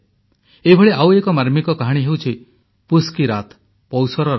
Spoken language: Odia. ଏହିଭଳି ଆଉ ଏକ ମାର୍ମିକ କାହାଣୀ ହେଉଛି ପୁସ୍ କି ରାତପୌଷର ରାତି